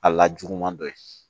A la juguman dɔ ye